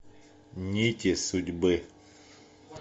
нити судьбы